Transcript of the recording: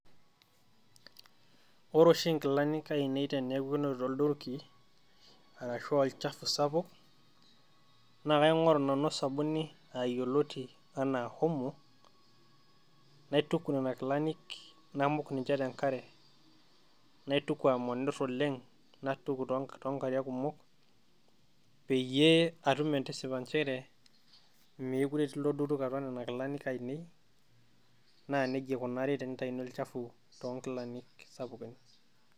Wore oshi nkilani ainei teneaku enotito ilduruki arashu olchafu sapuk naa kaingoru nanu osabuni yioloti enaa omo naituk nena kilanik namuk ninye nena kilani ,naituku amanirr oleng, naituku tonkilani kumok peyiee atuum entisipa njere meekure etii iloo duruk atua nena kilani ainei naa nije ikunakini olchafu tonkilani sapukin